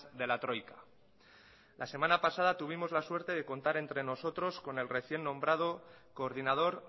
de la troika la semana pasada tuvimos la suerte de contar entre nosotros con el recién nombrado coordinador